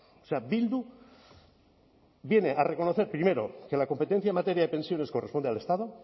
o sea bildu viene a reconocer primero que la competencia en materia de pensiones corresponde al estado